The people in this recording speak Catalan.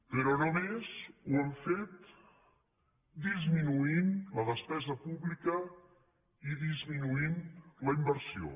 però només ho han fet disminuint la despesa pública i disminuint la inversió